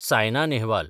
Saina Nehwal